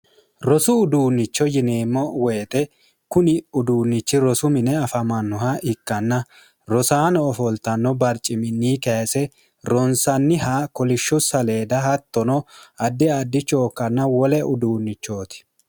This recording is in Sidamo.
rosu uduunnicho yineemmo woyite kuni uduunnichi rosu mine afamannoha ikkanna rosaano ofoltanno barciminni kayise ronsanniha kolishshu saleeda hattono addi addi chookkanna wole uduunnichooti